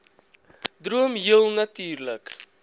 droom heel natuurlik